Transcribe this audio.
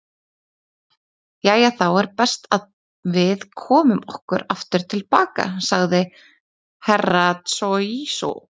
Jæja þá er best að við komum okkur aftur til baka, sagði Herra Tsohizo.